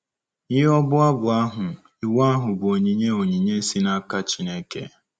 Nye ọbụ abụ ahụ, iwu ahụ bụ onyinye onyinye si n’aka Chineke.